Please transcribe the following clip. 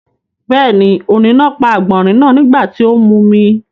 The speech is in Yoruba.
Bẹ́ẹ̀ni, ọ̀ni náà pa àgbọ̀nrín náà nígbà tí ó ń mumi.